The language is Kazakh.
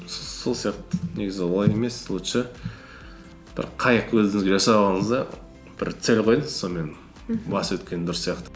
сол сияқты негізі олай емес лучше бір қайық өзіңізге жасап алыңыз да бір цель қойыңыз сонымен мхм басып өткен дұрыс сияқты